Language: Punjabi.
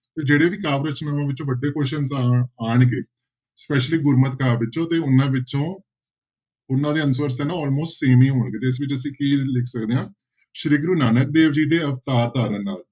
ਤੇ ਜਿਹੜੇ ਵੀ ਕਾਵਿ ਰਚਨਾਵਾਂ ਵਿੱਚੋਂ ਵੱਡੇ question ਤਾਂ ਆਉਣਗੇ specially ਗੁਰਮਤਿ ਕਾਵਿ ਵਿਚੋਂ ਤੇ ਉਹਨਾਂ ਵਿੱਚੋਂ, ਉਹਨਾਂ ਦੇ answer ਤੇ ਨਾਂ almost same ਹੀ ਹੋਣਗੇ ਤੇ ਇਸ ਵਿੱਚ ਅਸੀਂ ਕੀ ਲਿਖ ਸਕਦੇ ਹਾਂ ਸ੍ਰੀ ਗੁਰੁ ਨਾਨਕ ਦੇਵ ਜੀ ਦੇ ਅਵਤਾਰ ਧਾਰਨ ਨਾਲ